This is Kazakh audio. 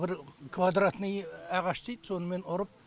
бір квадратный ағаш сонымен ұрып